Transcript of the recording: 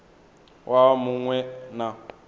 waha mu ṅ we na